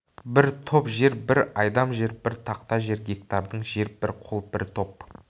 бір топ жер бір айдам жер бір тақта жер гектардың жер бір қол бір топ